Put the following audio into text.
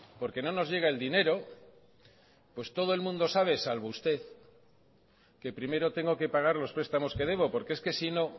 porque no nos llega el dinero pues todo el mundo sabe salvo usted que primero tengo que pagar los prestamos que debo porque es que sino